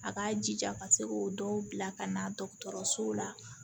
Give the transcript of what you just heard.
A k'a jija ka se k'o dɔw bila ka na dɔgɔtɔrɔso la